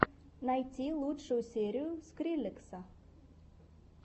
найти лучшую серию скриллекса